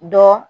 Dɔ